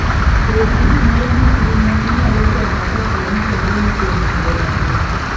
Bed gi gimoro matin ma inyalo chamo kapo ni idong' kuom kinde matin.